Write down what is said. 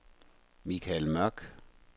Mikael Mørk